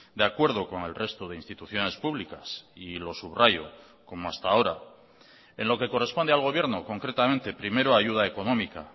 de acuerdo con el resto de instituciones públicas y lo subrayo como hasta ahora en lo que corresponde al gobierno concretamente primero ayuda económica